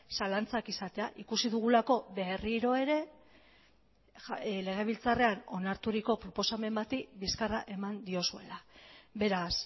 zalantzak izatea ikusi dugulako berriro ere legebiltzarrean onarturiko proposamen bati bizkarra eman diozuela beraz